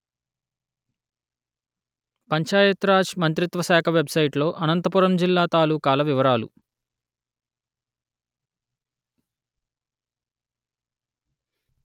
పంచాయత్ రాజ్ మంత్రిత్వ శాఖ వెబ్‌సైటులో అనంతపురం జిల్లా తాలూకాల వివరాలు